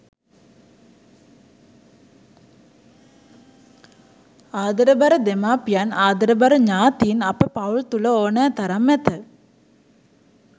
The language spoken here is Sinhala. ආදරබර දෙමාපියන් ආදරබර ඥාතීන් අප පවුල් තුළ ඕනෑ තරම් ඇත.